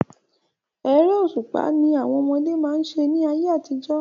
Eré òṣùpá ni àwọn ọmọdé má ń ṣe ní ayé àtijọ́.